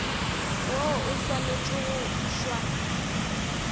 woo o swanetše go išwa